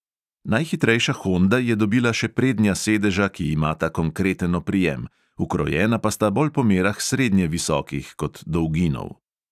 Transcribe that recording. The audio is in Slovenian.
Najhitrejša honda je dobila še prednja sedeža, ki imata konkreten oprijem, ukrojena pa sta bolj po merah srednje visokih kot dolginov.